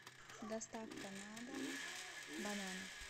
доставка на дом бананы